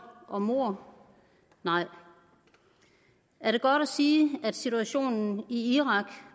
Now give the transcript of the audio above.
og mord nej er det godt at sige at situationen i irak